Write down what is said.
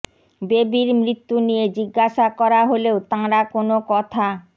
বেবির মৃত্যু নিয়ে জিজ্ঞাসা করা হলেও তাঁরা কোনও কথা